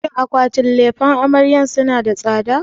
Shin akwatin lefen amaryar suna da tsada?